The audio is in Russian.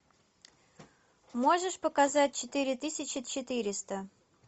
можешь показать четыре тысячи четыреста